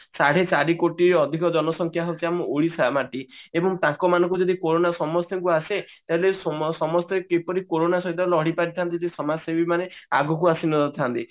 ସାଢେ ଚାରି କୋଟି ଅଧିକା ଜନସଂଖ୍ୟା ହଉଛି ଆମ ଓଡିଶା ମାଟି ଏବଂ ତାଙ୍କ ମାନଙ୍କୁ ଯଦି କୋରୋନା ସମସ୍ତଙ୍କୁ ଆସେ ତେବେ ସମସ୍ତେ କିପରି କୋରୋନା ସହିତ ଲଢିପାରିବେ ଯଦି ସମାଜସେବୀ ମାନେ ଆଗକୁ ଆସି ନଥାନ୍ତି